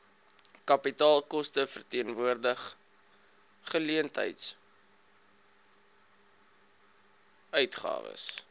kapitaalkoste verteenwoordig geleentheidsuitgawes